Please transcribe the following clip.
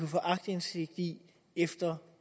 få aktindsigt i efter